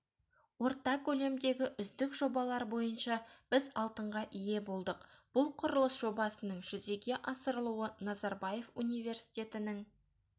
орта көлемдегі үздік жобалар бойынша біз алтынға ие болдық бұл құрылыс жобасының жүзеге асырылуы назарбаев университетінің